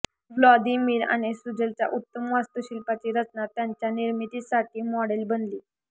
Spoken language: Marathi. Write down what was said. व्लादिमिर आणि सुझलच्या उत्तम वास्तुशिल्पाची रचना त्याच्या निर्मितीसाठी मॉडेल बनली